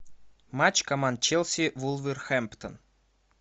матч команд челси вулверхэмптон